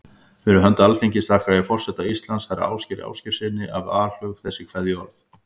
Fyrir hönd Alþingis þakka ég forseta Íslands, herra Ásgeiri Ásgeirssyni, af alhug þessi kveðjuorð.